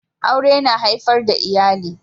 Aure yana haifar da iyali